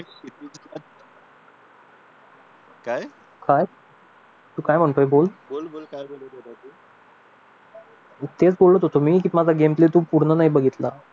काय काय तू काय म्हणतोय बोल मी तेच बोलत होतो की तू माझा गेम प्ले पूर्ण नाही बघितला